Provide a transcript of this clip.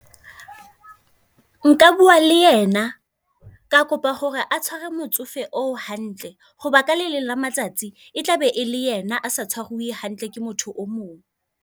Nka bua le ena, ka kopa hore a motsofe o hantle. Hoba ka le leng la matsatsi e tlabe e le yena a se hantle ke motho o mong.